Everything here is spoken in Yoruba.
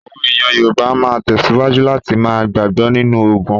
Àwọn èèyàn Yorùbá máa tẹ̀síwájú láti ma gbàgbọ́ nínú ògùn.